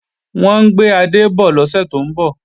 Wọ́n ń gbé adé bọ̀ lọ́sẹ̀ tó ń bọ̀